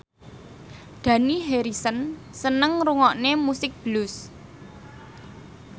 Dani Harrison seneng ngrungokne musik blues